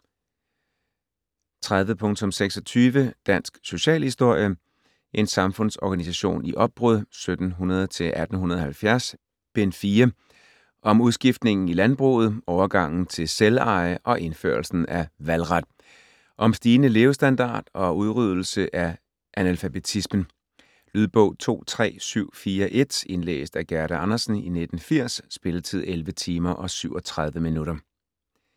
30.26 Dansk socialhistorie: En samfundsorganisation i opbrud 1700-1870: Bind 4 Om udskiftningen i landbruget, overgangen til selveje og indførelsen af valgret. Om stigende levestandard og udryddelse af analfabetismen. Lydbog 23741 Indlæst af Gerda Andersen, 1980. Spilletid: 11 timer, 37 minutter.